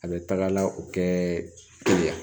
A bɛ taga o kɛ yan